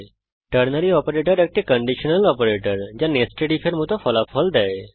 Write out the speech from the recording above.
ternary operator একটি conditional operator যা nested IF এর মত ফলাফল দেয়